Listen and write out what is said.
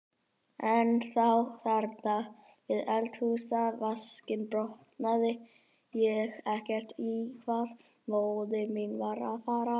En þá, þarna við eldhúsvaskinn, botnaði ég ekkert í hvað móðir mín var að fara.